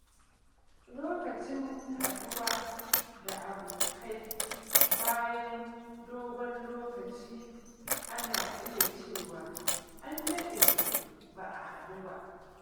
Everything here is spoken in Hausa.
Lokacin haɗuwa da abokai bayan dogon lokaci, ana iya cewa “An daɗe ba a haɗu ba.”